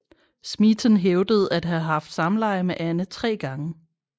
Smeaton hævdede at have haft samleje med Anne tre gange